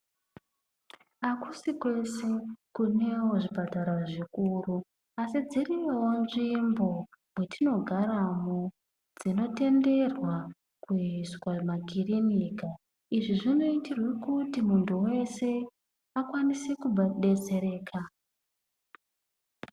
Hakusi kwese kunewo zvipatara zvikuru, asi dziriyowo nzvimbo kwatinogarawo dzinotenderwa kuisa makirinika izvi zvinoitirwa kuti muntu wese akwanise kudetsereka.